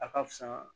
A ka fisa